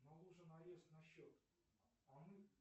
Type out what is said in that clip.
наложен арест на счет